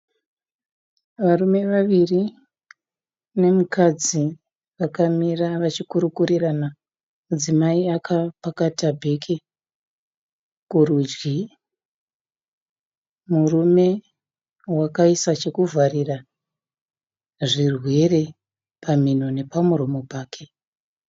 Varume vaviri nemukadzi vakamira vachikurukurirana. Mudzimai akapakata bhegi kurudyi. Murume wakaisa zvokuvharira zvirwere pamhino nepamuromo pake.